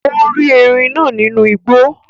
Ó rí ẹrin náà nínú igbó